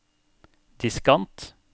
diskant